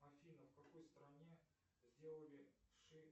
афина в какой стране сделали